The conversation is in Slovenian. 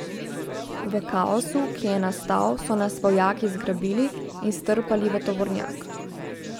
V kaosu, ki je nastal, so nas vojaki zgrabili in strpali v tovornjak.